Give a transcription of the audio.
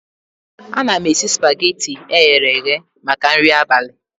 Ana m esi spageti eghere eghe maka nri abalị